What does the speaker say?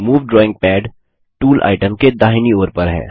move drawing pad tool item के दाहिनी ओर पर है